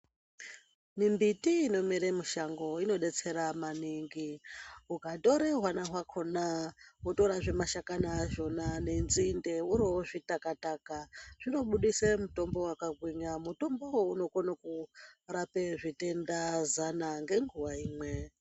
Mumbuti inomere mushango inobetsera maningi ukatore wana wakaona wotora zvee mashakani azvona nenzinde wozvitaka taka zvinomuditse muto wakona wakaite mutombo wakagwinya mutombo wona iwowo unogone kurape zvitenda zana nenguva imwe.